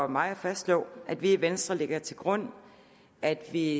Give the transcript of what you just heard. mig at fastslå at vi i venstre lægger til grund at vi